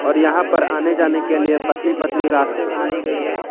और यहां पर आने जाने के लिए पतली पतली रास्ते बनाई गई है।